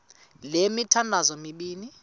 le mithandazo mibini